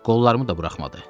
Qollarımı da buraxmadı.